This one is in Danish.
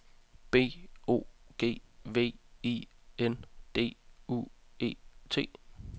B O G V I N D U E T